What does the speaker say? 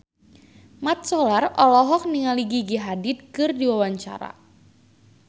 Mat Solar olohok ningali Gigi Hadid keur diwawancara